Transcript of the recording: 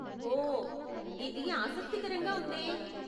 ఓ, ఇది ఆసక్తికరంగా ఉందే.